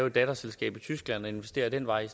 et datterselskab i tyskland og investere ad den vej i